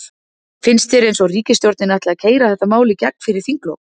Finnst þér eins og ríkisstjórnin ætli að keyra þetta mál í gegn fyrir þinglok?